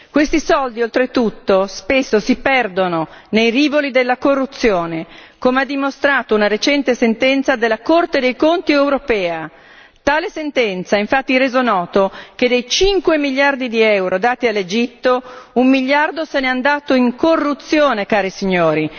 Questi soldi oltretutto spesso si perdono nei rivoli della corruzione, come ha dimostrato una recente sentenza della Corte dei conti europea, tale sentenza ha infatti reso noto che dei 5 miliardi di euro dati all'Egitto, un miliardo se n'è andato in corruzione, cari signori!